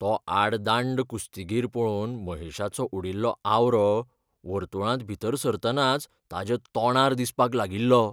तो आडदांड कुस्तीगीर पळोवन महेशाचो उडिल्लो आवरो, वर्तुळांत भितर सरतनाच ताच्या तोंडार दिसपाक लागिल्लो.